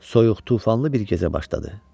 Soyuq, tufanlı bir gecə başladı.